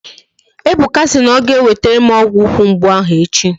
Ebuka si na ọ ga-ewetere m ọgwụ ukwu mgbu ahụ echi